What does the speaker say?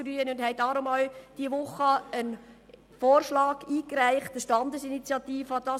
Deshalb haben wir in dieser Woche einen Vorschlag in Form einer Standesinitiative eingereicht.